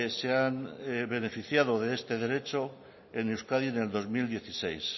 se han beneficiado de este derecho en euskadi en el dos mil dieciséis